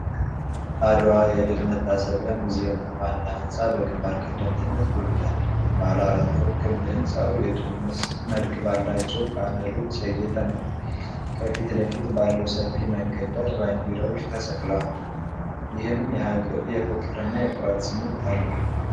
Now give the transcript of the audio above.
አድዋ የድል መታሰቢያ ሙዚየም ዋና ህንፃ በግንባር ቀደምትነት ጎልቶአል። ባለ አራት ፎቅ ክብ ሕንፃው የጡብ መልክ ባላቸው ፓነሎች ያጌጠ ነው። ከፊት ለፊት ባለው ሰፊ መንገድ ዳር ባንዲራዎች ተሰቅለዋል፤ ይህም የፍቅር እና የኩራት ስሜት አለው።